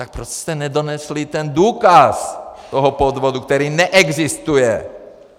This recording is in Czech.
Tak proč jste nedonesli ten důkaz toho podvodu, který neexistuje?